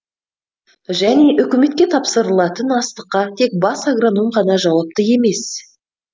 және үкіметке тапсырылатын астыққа тек бас агроном ғана жауапты емес